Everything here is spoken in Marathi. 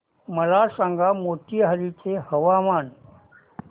मला सांगा मोतीहारी चे हवामान